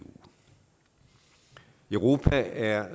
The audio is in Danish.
europa er